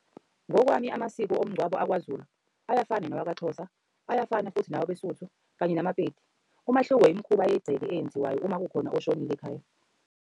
Ngokwami amasiko omngcwabo akwaZulu ayafana nawakaXhosa, ayafana futhi nawebeSuthu, kanye namaPedi. Umahluko imikhuba yegceke eyenziwayo uma kukhona oshonile ekhaya.